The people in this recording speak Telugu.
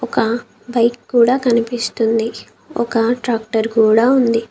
ఒక బైక్ కూడా కనిపిస్తుంది. ఒక ట్రాక్టర్ కూడా ఉంది.